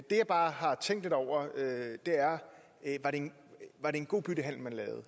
det jeg bare har tænkt lidt over er var det en god byttehandel man lavede